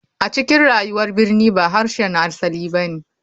A cikin rayuwar birni ba harshen asali ba ne.